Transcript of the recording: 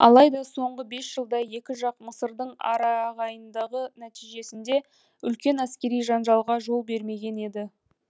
алайда соңғы бес жылда екі жақ мысырдың арағайындығы нәтижесінде үлкен әскери жанжалға жол бермеген еді